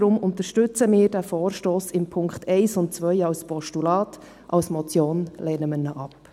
Daher unterstützen wir diesen Vorstoss in den Punkten 1 und 2 als Postulat, als Motion lehnen wir ihn ab.